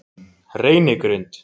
Reynigrund